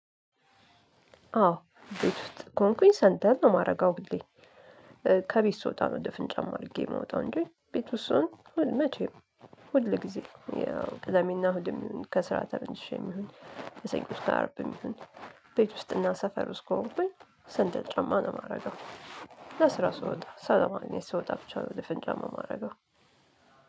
አዎ ቤት ውስጥ ከሆንኩኝ ሰንደል ነው የማረገው ሁሌ። ከቤት ስወጣ ነው ድፍን ጫማ አድርጌ ምወጣው እንጂ ቤት ውስጥ ስሆን መቼም ሁል ጊዜ ያው ቅዳሜና እሁድም ከስራ ተመልሼም ይሁን ከሰኞ እስከ አርብም ይሁን ቤት ውስጥና ሰፈር ውስጥ ከሆንኩኝ ሰንደል ጫማ ነው የማረገው ለስራ ስወጣ ሰው ለማግኘት ስወጣ ብቻ ነው ድፍን ጫማ ማረገው